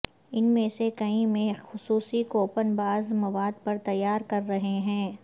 ان میں سے کئی میں خصوصی کوپن بعض مواد پر تیار کر رہے ہیں